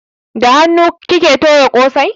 Da hanu kike toya kosai?